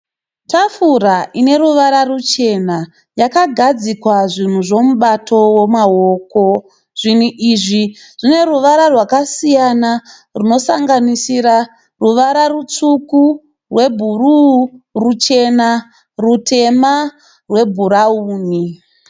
Tafura ineruvara ruchena. Yakagadzikwa zvinhu zvemibato wemaoko. Zvinhu izvi zvineruvara rwakasiyana rwunosanganisira ruvara rutsvuku, rwebhuruu, ruchena, rutema nebhurawuni.